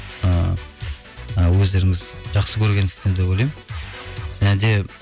ыыы ы өздеріңіз жақсы көргендіктен деп ойлаймын және де